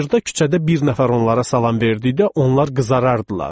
Bayırda küçədə bir nəfər onlara salam verdikdə onlar qızarardılar.